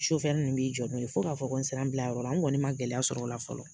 Su fɛ n dun b'i jɔ n'o ye fo k'a fɔ ko n sera n bilayɔrɔ la, n kɔni ma gɛlɛya sɔr'ɔ la fɔlɔ